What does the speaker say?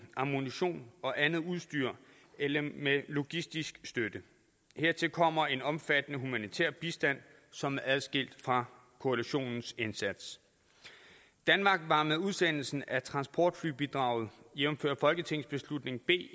ammunition og andet udstyr eller med logistisk støtte hertil kommer en omfattende humanitær bistand som er adskilt fra koalitionens indsats danmark var med udsendelsen af transportflybidraget jævnfør folketingsbeslutning b